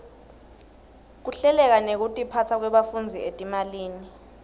kuhleleka nekutiphasa kwebafundzi etimalini